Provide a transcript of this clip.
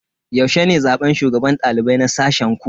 Yaushe ne zaben shugaban dalibai na sashen ku?